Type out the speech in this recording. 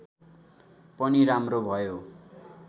पनि राम्रो भयो